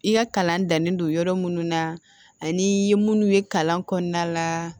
I ka kalan dannen don yɔrɔ minnu na ani munnu ye kalan kɔnɔna la